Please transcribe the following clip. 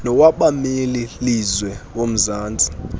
nowabameli lizwe womzantsi